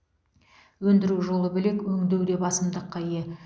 өндіру жолы бөлек өңдеу де басымдыққа ие